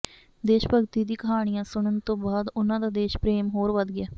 ਦੇਸ਼ ਭਗਤੀ ਦੀ ਕਹਾਣੀਆਂ ਸੁਣਨ ਤੋਂ ਬਾਅਦ ਉਨ੍ਹਾਂ ਦਾ ਦੇਸ਼ ਪ੍ਰੇਮ ਹੋਰ ਵਧ ਗਿਆ